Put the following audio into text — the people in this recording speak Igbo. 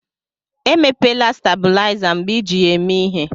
Emepela stabuliza mgbe iji ya eme ihé.